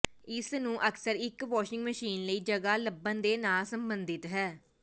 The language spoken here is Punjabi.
ਇਸ ਨੂੰ ਅਕਸਰ ਇੱਕ ਵਾਸ਼ਿੰਗ ਮਸ਼ੀਨ ਲਈ ਜਗ੍ਹਾ ਲੱਭਣ ਦੇ ਨਾਲ ਸੰਬੰਧਿਤ ਹੈ